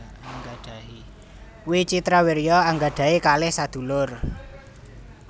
Wicitrawirya anggadhahi kalih sadulur